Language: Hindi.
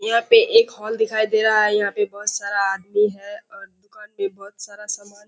यहाँ पे एक हॉल दिखाई दे रहा है। यहाँ पे बहुत सारा आदमी है और दुकान पे बहुत सारा सामान --